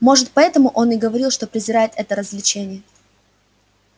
может поэтому он и говорил что презирает это развлечение